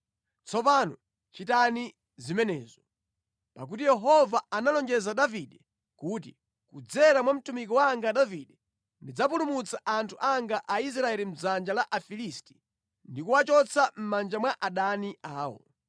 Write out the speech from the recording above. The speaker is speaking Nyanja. Tsopano chitani zimenezo! Pakuti Yehova analonjeza Davide kuti, ‘Kudzera mwa mtumiki wanga Davide ndidzapulumutsa anthu anga Aisraeli mʼdzanja la Afilisti ndi kuwachotsa mʼmanja mwa adani awo.’ ”